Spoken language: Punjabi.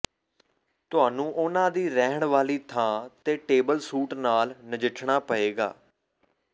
ਤੁਹਾਨੂੰ ਉਨ੍ਹਾਂ ਦੀ ਰਹਿਣ ਵਾਲੀ ਥਾਂ ਤੇ ਟੇਬਲ ਸੂਟ ਨਾਲ ਨਜਿੱਠਣਾ ਪਏਗਾ